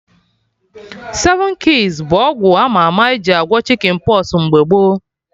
Seven keys bụ ọgwụ ama ama eji agwọ Chicken pox mgbe gboo